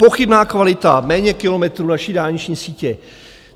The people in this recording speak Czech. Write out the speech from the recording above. Pochybná kvalita, méně kilometrů naší dálniční sítě.